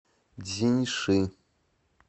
цзиньши